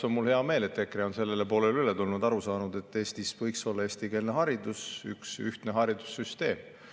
Mul hea meel, et tänaseks on EKRE meie poolele üle tulnud ja aru saanud, et Eestis võiks olla eestikeelne haridus ja ühtne haridussüsteem.